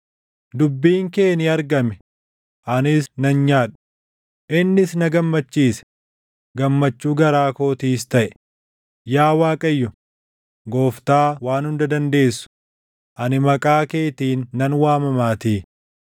Dubbiin kee ni argame; anis nan nyaadhe; innis na gammachiise; gammachuu garaa kootiis taʼe; yaa Waaqayyo, Gooftaa Waan Hunda Dandeessu, ani maqaa keetiin nan waamamaatii.